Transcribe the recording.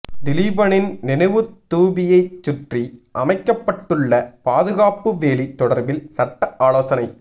திலீபனின் நினைவுத்தூபியைச் சுற்றி அமைக்கப்பட்டுள்ள பாதுகாப்பு வேலி தொடர்பில் சட்ட ஆலோசனை